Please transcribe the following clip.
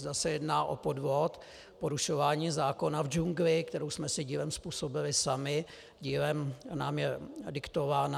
Zda se jedná o podvod, porušování zákona v džungli, kterou jsme si dílem způsobili sami, dílem nám je diktována?